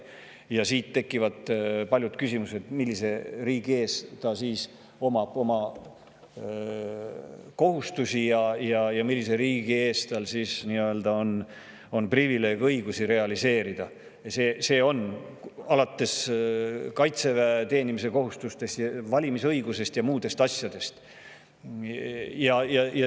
Sellised tekitavad palju küsimusi: millise riigi ees tal siis kohustused on ja millises riigis on tal privileeg neid õigusi realiseerida, alates kaitseväes teenimise kohustusest, valimisõiguse ja muude asjadega.